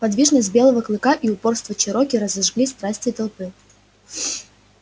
подвижность белого клыка и упорство чероки разожгли страсти толпы